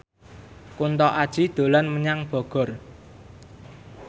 Kunto Aji dolan menyang Bogor